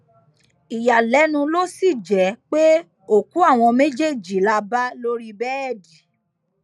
ìyàlẹnu ló sì jẹ pé òkú àwọn méjèèjì la bá lórí bẹẹdì